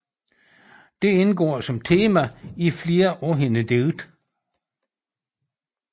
Dette indgår som tema i flere af hendes digte